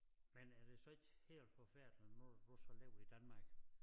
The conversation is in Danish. Men er det så ikke helt forfærdeligt nu har du så levet i Danmark